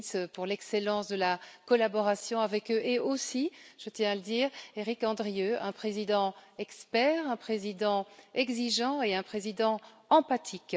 Lins, pour l'excellence de la collaboration avec eux et aussi je tiens à le dire Éric Andrieu, un président expert, un président exigeant et un président empathique.